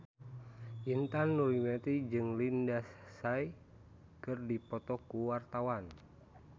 Intan Nuraini jeung Lindsay Ducan keur dipoto ku wartawan